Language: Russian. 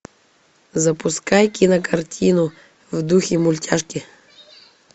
запускай кинокартину в духе мультяшки